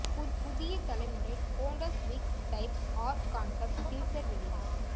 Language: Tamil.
புதிய தலைமுறை Honda Civic type R concept teaser வெளியீடு